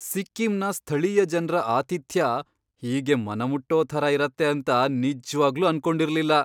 ಸಿಕ್ಕಿಂನ ಸ್ಥಳೀಯ ಜನ್ರ ಆತಿಥ್ಯ ಹೀಗೆ ಮನಮುಟ್ಟೋ ಥರ ಇರತ್ತೆ ಅಂತ ನಿಜ್ವಾಗ್ಲೂ ಅನ್ಕೊಂಡಿರ್ಲಿಲ್ಲ.